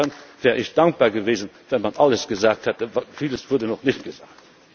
Insofern wäre ich dankbar gewesen, wenn man alles gesagt hätte. Vieles wurde noch nicht gesagt.